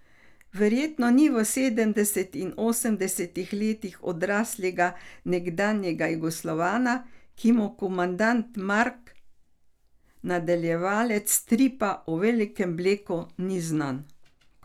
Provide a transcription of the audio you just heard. Verjetno ni v sedemdesetih in osemdesetih letih odraslega nekdanjega Jugoslovana, ki mu komandant Mark, nadaljevalec stripa o Velikem Bleku, ni znan.